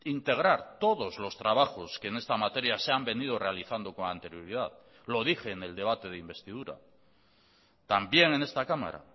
integrar todos los trabajos que en esta materia se han venido realizando con anterioridad lo dije en el debate de investidura también en esta cámara